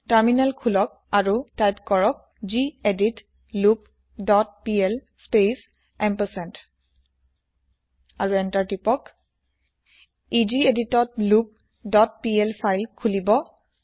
terminal খোলক আৰু type কৰক gedit loop dot PL space ampersand আৰু এন্তাৰ টিপক ই গেদিত ত লুপ ডট পিএল ফাইল খোলিব